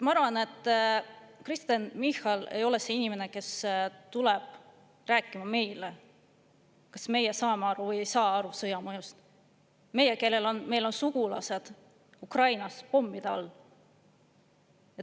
Ma arvan, et Kristen Michal ei ole see inimene, kes tulema rääkima meile, kas me saame või ei saa aru sõja mõjust – meile, kellel meil on sugulased Ukrainas pommide all.